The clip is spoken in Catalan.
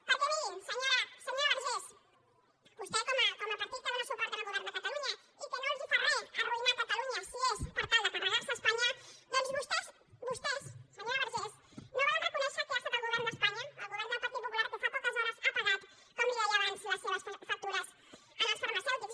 perquè mirin senyora vergés vostès com a partit que dóna suport al govern de catalunya i que no els fa re arruïnar catalunya si és per tal de carregar se espanya doncs vostès vostès senyora vergés no volen reconèixer que ha estat el govern d’espanya el govern del partit popular que fa poques hores ha pagat com li deia abans les seves factures als farmacèutics